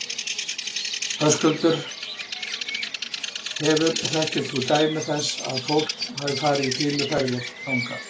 Höskuldur: Hefur, þekkir þú dæmi þess að, að fólk hafi farið í fýluferðir þangað?